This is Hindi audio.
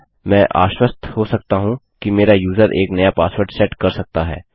मैं आश्वस्त हो सकता हूँ कि मेरा यूज़र एक नया पासवर्ड सेट कर सकता है